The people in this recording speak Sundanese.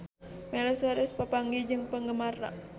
Miley Cyrus papanggih jeung penggemarna